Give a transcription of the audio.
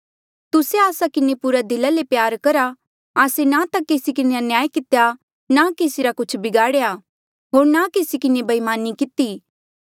तुस्से आस्सा किन्हें पूरा दिला ले प्यारा करहा आस्से ना ता केसी किन्हें अन्याय कितेया ना केसी रा कुछ बिगाड़ेया होर ना केसी किन्हें बईमानी किती